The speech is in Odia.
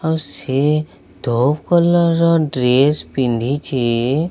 ଆଉ ସେ ତୋପ କଲର ର ଡ୍ରେସ ପିନ୍ଧିଚି।